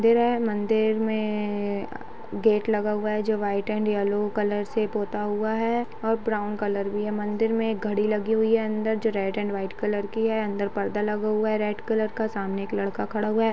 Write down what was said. मंदिर है मंदिर मे गेट लगा हुआ है जो व्हाइट एण्ड येलो कलर से पोता हुआ है और ब्राउन कलर भी है मंदिर मे एक घड़ी लगी हुई है अंदर जो रेड एण्ड व्हाइट कलर की है अंदर पर्दा लगा हुआ है रेड कलर का सामने एक लड़का खड़ा हुआ है।